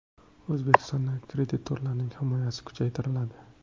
O‘zbekistonda kreditorlarning himoyasi kuchaytiriladi.